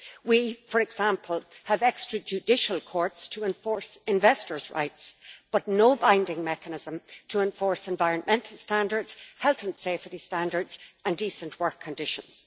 We, for example, have extra judicial courts to enforce investors' rights but no binding mechanism to enforce environmental standards, health and safety standards and decent work conditions.